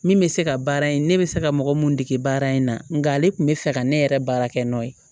Min bɛ se ka baara in ne bɛ se ka mɔgɔ mun dege baara in na nka ale tun bɛ fɛ ka ne yɛrɛ baara kɛ n nɔ ye